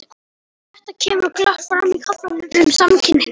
Þetta kemur glöggt fram í kaflanum um samkynhneigð.